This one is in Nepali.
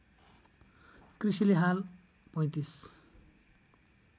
कृषिले हाल ३५